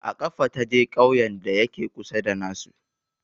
A ƙafa ta je ƙauyen da ya ke kusa da na su